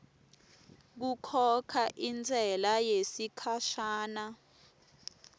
kukhokha intsela yesikhashana